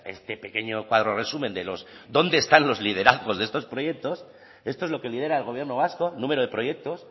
este pequeño cuadro resumen de los dónde están los liderazgos de estos proyectos esto es lo que lidera el gobierno vasco número de proyectos